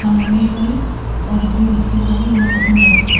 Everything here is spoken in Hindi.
खाने में इडली और इडली बच्चों को भी बहुत पसंद आती है।